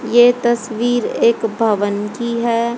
ये तस्वीर एक भवन की है।